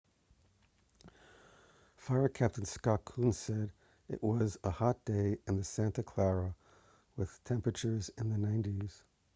fire captain scott kouns said it was a hot day in the santa clara with temperatures in the 90s